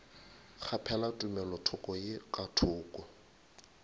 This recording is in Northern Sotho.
kgaphela tumelothoko ye ka thoko